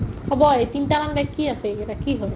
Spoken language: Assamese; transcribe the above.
হ'ব আৰ্, এই তিনটামান bag কি আছে এইকেইটা কি হয় ?